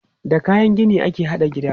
Da kayan gini ake haɗa gida.